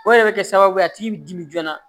O de bɛ kɛ sababu ye a t'i dimi joona